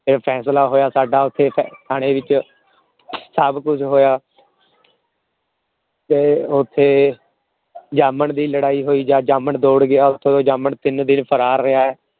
ਫੇਰ ਫੈਸਲਾ ਹੋਇਆ ਸਾਡਾ ਓਥੇ ਥਾਣੇ ਵਿਚ ਸਭ ਕੁਛ ਹੋਇਆ ਤੇ ਓਥੇ ਅਹ ਜਾਮਣ ਦੀ ਲੜਾਈ ਹੋਇ ਜਾਮਣ ਦੌੜ ਗਿਆ ਜਾਮਣ ਤਿੰਨ ਦਿਨ ਫਰਾਰ ਰਿਹਾ